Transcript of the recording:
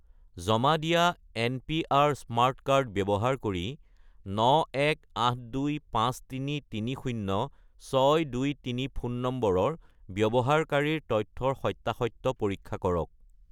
জমা দিয়া NPR. Smart card ব্যৱহাৰ কৰি 91825330623 ফোন নম্বৰৰ ব্যৱহাৰকাৰীৰ তথ্যৰ সত্য়াসত্য় পৰীক্ষা কৰক